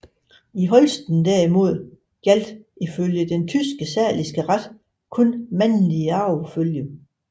I Holsten derimod gjaldt ifølge den tyske saliske ret kun mandlig arvefølge